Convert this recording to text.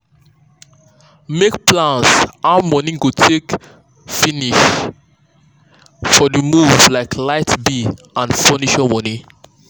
make plan how money go take finish for the move like light bill and furniture money.